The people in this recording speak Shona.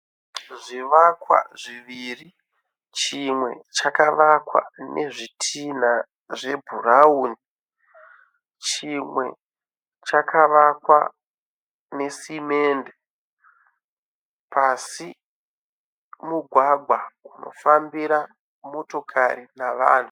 Zvivakwa zviviri chimwe chakavakwa nezvitinha zvebhurauni chimwe chakavakwa nesimende pasi mugwagwa unofambira motokari navanhu.